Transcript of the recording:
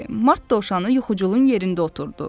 Mart dovşanı yuxuculun yerində oturdu.